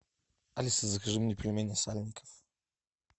алиса закажи мне пельмени сальников